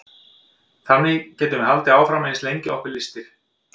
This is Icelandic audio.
þannig getum við haldið áfram eins lengi og okkur lystir